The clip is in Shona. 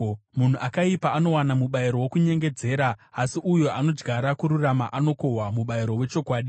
Munhu akaipa anowana mubayiro wokunyengedzera, asi uyo anodyara kururama anokohwa mubayiro wechokwadi.